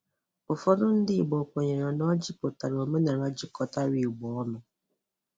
Ụfọdụ ndị́ Ìgbò kwènyèrè na ọ́jị́ pụ̀tàrà 'Óménàlà' jikọ̀tárá Ìgbò ọ́nụ.'